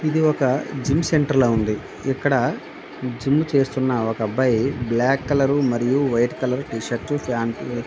ఇది ఒక gym centre లాగా ఉంది. ఇక్కడ జిమ్ చేస్తున ఒక అబ్బాయి బ్లాక్ కలర్ మరియు వైట్ కలర్ టీషీర్ట్స్ ప్యాంటు --